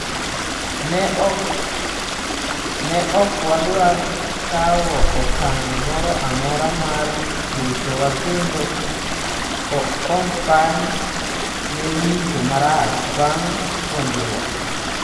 Ne ok wadwar kawo okang’ moro amora mar ritowa kendo Kompany ne winjo marach bang’ puonjruok.